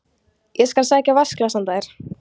Ég skal sækja vatnsglas handa þér